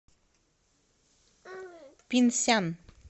пинсян